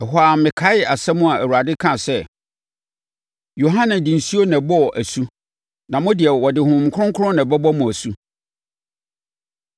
Ɛhɔ ara mekaee asɛm a Awurade kaa sɛ, ‘Yohane de nsuo na ɛbɔɔ asu na mo de, wɔde Honhom Kronkron na ɛbɛbɔ mo asu’ no.